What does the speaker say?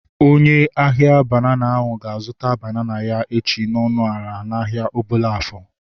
Onye ahia banana ahu ga-azụta banana ya echi n'ọnụ ala n'ahia Obollo-Afor